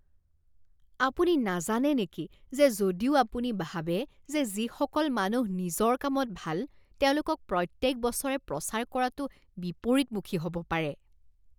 আপুনি নাজানে নেকি যে যদিও আপুনি ভাবে যে যিসকল মানুহ নিজৰ কামত ভাল তেওঁলোকক প্ৰত্যেক বছৰে প্ৰচাৰ কৰাটো বিপৰীতমুখী হ'ব পাৰে?